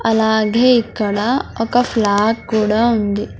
అలాగే ఇక్కడ ఒక ఫ్లాగ్ కూడా ఉంది.